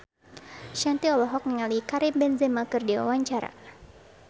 Shanti olohok ningali Karim Benzema keur diwawancara